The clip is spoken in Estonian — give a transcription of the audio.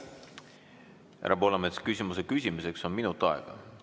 Härra Poolamets, küsimuse küsimiseks on minut aega.